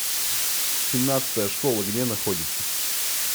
семнадцатая школа где находится